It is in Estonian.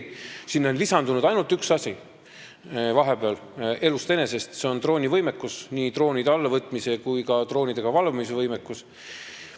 Sinna on vahepeal lisandunud ainult üks asi elust enesest, see on droonivõimekus – nii droonide allavõtmise kui ka droonidega valvamise võimekus.